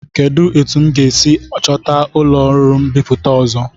Kedụ etu m ga-esi chọta ụlọọrụ mbipụta ọzọ?